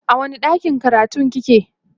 a wani ɗakin karatun kike?